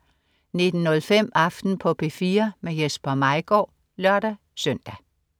19.05 Aften på P4. Jesper Maigaard (lør-søn)